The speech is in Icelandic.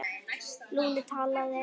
Lúna talaði